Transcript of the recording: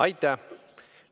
Aitäh!